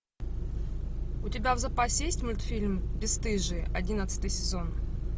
у тебя в запасе есть мультфильм бесстыжие одиннадцатый сезон